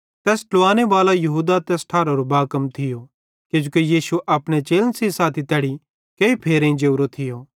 तैस ट्लुवांने बालो यहूदा तैस ठारारो बाकम थियो किजोकि यीशु अपने चेलन सेइं साथी तैड़ी केही फेरेईं जोरो थियो